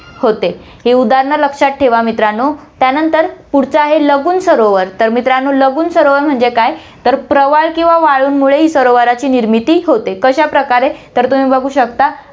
होते. हे उदाहरणं लक्षात ठेवा मित्रांनो, त्यानंतर पुढचं आहे लगून सरोवर, तर मित्रांनो लगून सरोवर म्हणजे काय तर, प्रवाळ किंवा वाळूंमुळेही सरोवराची निर्मिती होते, कश्याप्रकारे तर तुम्ही बघु शकता.